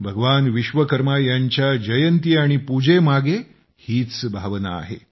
भगवान विश्वकर्मा यांच्या जयंती आणि पुजेमागे हीच भावना आहे